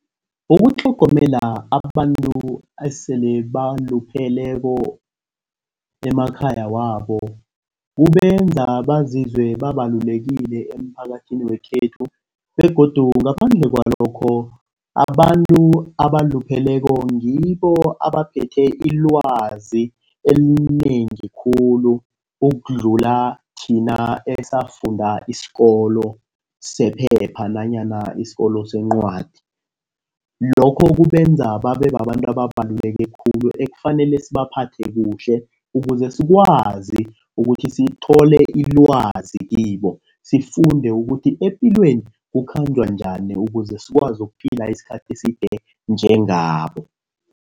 Ukutlhogomela abantu esele balupheleko emakhaya wabo kubenza bazizwe babalulekile emphakathini wekhethu begodu ngaphandle kwalokho. Abantu abalupheleko ngibo abaphethe ilwazi elinengi khulu ukudlula thina esafunda isikolo sephepha nanyana isikolo sencwadi. Lokho kubenza babe babantu ababaluleke khulu ekufanele sibaphathe kuhle. Ukuze sikwazi ukuthi sithole ilwazi kibo sifunde ukuthi epilweni kukhanjwe njani ukuze sikwazi ukuphila iskhathi eside njengabo.